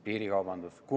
Piirikaubandus?